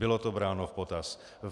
Bylo to bráno v potaz.